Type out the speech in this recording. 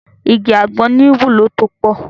Igi àgbọn ní ìwúlò tó pọ̀.